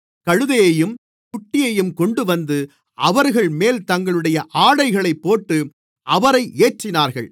கழுதையையும் குட்டியையும் கொண்டுவந்து அவைகள்மேல் தங்களுடைய ஆடைகளைப் போட்டு அவரை ஏற்றினார்கள்